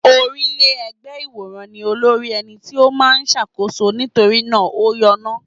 Orílẹ́-ẹgbẹ́ ìwòrán ní olórí ẹni tí ó máa ń ṣàkóso nítorí náà ó yọ́nà.